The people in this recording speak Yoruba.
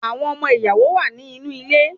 Awọn ọmọ ìyàwó wá ni inú ilé